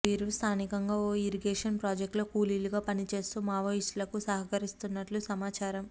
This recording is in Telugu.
వీరు స్థానికంగా ఓ ఇరిగేషన్ ప్రాజెక్టులో కూలీలుగా పనిచేస్తూ మావోయిస్టులక సహకరిస్తున్నట్లు సమాచారం